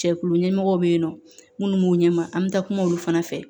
Cɛkulu ɲɛmɔgɔw bɛ yen nɔ minnu b'u ɲɛma an bɛ taa kuma olu fana fɛ